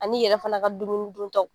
An'i yɛrɛ fana ka dumuni duntaw